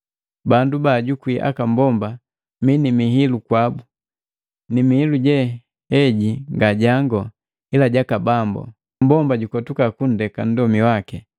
Bandu bajukwi aka mbomba mi ni miilu kwabu, ni miilu je heji nga jango, ila jaka Bambu, mmbomba jukotuka kundeka nndomi waki,